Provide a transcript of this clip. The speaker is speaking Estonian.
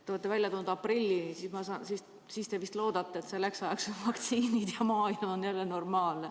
Te olete välja toonud aprilli – te vist loodate, et selleks ajaks on vaktsiinid olemas ja maailm on jälle normaalne.